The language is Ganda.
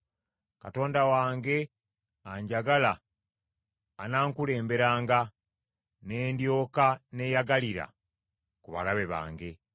Katonda wange anjagala anankulemberanga, ne ndyoka neeyagalira ku balabe bange.